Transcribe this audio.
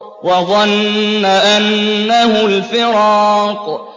وَظَنَّ أَنَّهُ الْفِرَاقُ